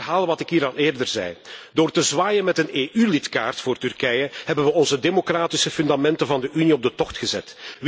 Ik herhaal wat ik hier al eerder zei door te zwaaien met een EU lidkaart voor Turkije hebben we onze democratische fundamenten van de Unie op de tocht gezet.